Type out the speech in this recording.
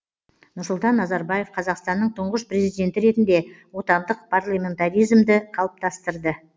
нұрсұлтан назарбаев қазақстанның тұңғыш президенті ретінде отандық парламентаризмді қалыптастырды